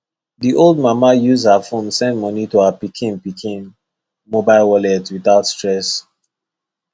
the old mama use her phone send money to her pikin pikin mobile wallet without stress